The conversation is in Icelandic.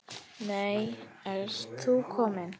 Nei, ert þú kominn?